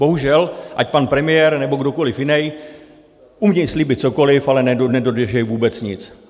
Bohužel, ať pan premiér, nebo kdokoliv jiný umí slíbit cokoliv, ale nedodrží vůbec nic.